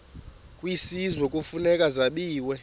kwisizwe kufuneka zabiwe